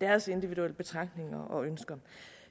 deres individuelle betragtninger og ønsker